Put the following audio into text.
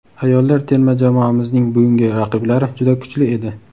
ayollar terma jamoamizning bugungi raqiblari juda kuchli edi.